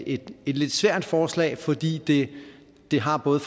et lidt svært forslag fordi det har både